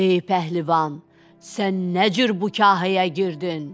Ey pəhlivan, sən nə cür bu kahaya girdin?